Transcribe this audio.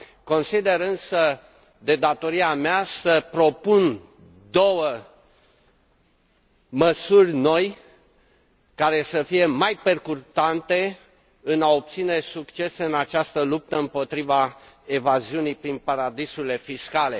Consider însă de datoria mea să propun două măsuri noi, care să fie mai percutante în a obține succes în această luptă împotriva evaziunii prin paradisuri fiscale.